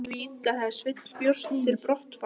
Jón tók því illa þegar Sveinn bjóst til brottfarar.